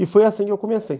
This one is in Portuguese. E foi assim que eu comecei.